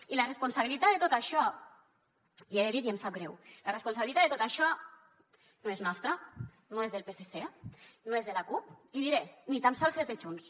i la responsabilitat de tot això l’hi he de dir i em sap greu no és nostra no és del psc no és de la cup l’hi diré ni tan sols és de junts